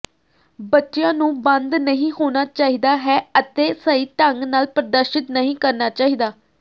ਬੱਚਿਆਂ ਨੂੰ ਬੰਦ ਨਹੀਂ ਹੋਣਾ ਚਾਹੀਦਾ ਹੈ ਅਤੇ ਸਹੀ ਢੰਗ ਨਾਲ ਪ੍ਰਦਰਸ਼ਿਤ ਨਹੀਂ ਕਰਨਾ ਚਾਹੀਦਾ